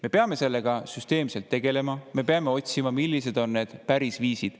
Me peame sellega süsteemselt tegelema, me peame otsima, millised on need viisid.